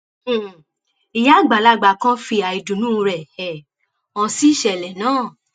um ìyá àgbàlagbà kan fi àìdùnnú rẹ um hàn sí ìṣẹlẹ náà